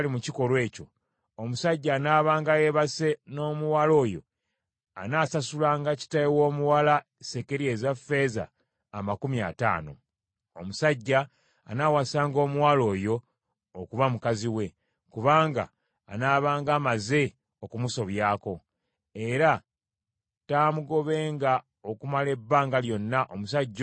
omusajja anaabanga yeebase n’omuwala oyo anaasasulanga kitaawe w’omuwala sekeri eza ffeeza amakumi ataano. Omusajja anaawasanga omuwala oyo okuba mukazi we, kubanga anaabanga amaze okumusobyako. Era taamugobenga okumala ebbanga lyonna omusajja oyo nga mulamu.